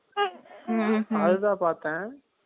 அது தான் பாத்தேன்